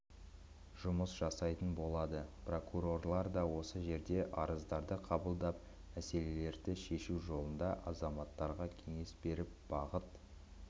жасайтын болады прокурорлар да осы жерде арыздарды қабылдап мәселелерді шешу жолында азаматтарға кеңес беріп бағыт